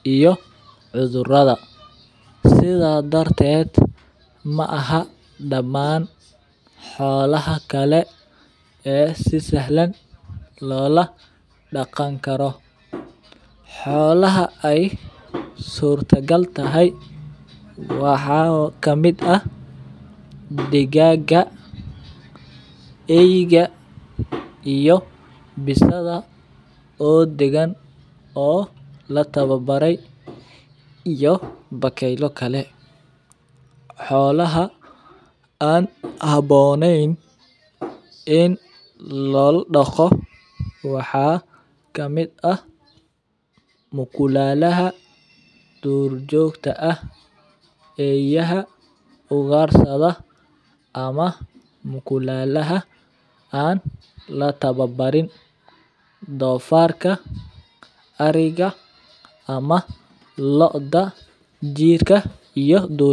iyo cudhurada sitha darteed maaha daman xolaha kale ee si sahlan lola daqan karo xolaha ee surta gal tahay waxaa kamiid ah digaga eyga iyo bisada oo dagan oo la tawabare iyo bakeyla kale, xolaha an habonen in lola daqo waxaa kamiid ah mukulalaha dur jogta ah eyaha ugarsiga ama mukulalaha an latawa barin donfarka ariga ama lodha jirka ama digninta.